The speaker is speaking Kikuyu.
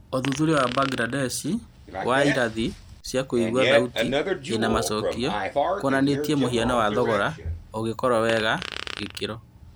ũthuthuria wa Mbangirandesh wa irathi cia kũigua thauti ĩna macokio kuonanĩtie mũhiano wa thogora ũgĩkorwo mwega na gĩkĩro